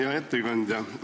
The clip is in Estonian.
Hea ettekandja!